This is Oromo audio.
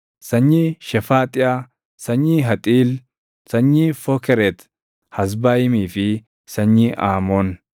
sanyii Shefaaxiyaa, sanyii Haxiil, sanyii Fookeret-Hazbaayimii fi sanyii Aamoon.